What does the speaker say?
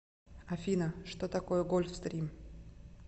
афина что такое гольфстрим